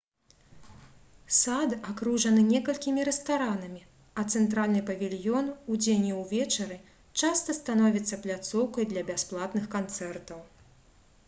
сад акружаны некалькімі рэстаранамі а цэнтральны павільён удзень і ўвечары часта становіцца пляцоўкай для бясплатных канцэртаў